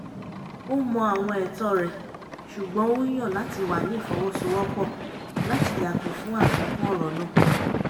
ó mọ àwọn ẹ̀tọ́ rẹ̀ ṣùgbọ́n ó yàn láti wà ní ìfọwọ́sowọ́pọ̀ láti yàgò fún àfikún ọ̀rọ̀ náà